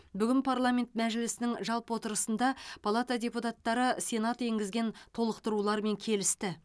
бүгін парламент мәжілісінің жалпы отырысында палата депутаттары сенат енгізген толықтырулармен келісті